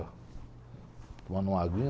Tomando uma aguinha.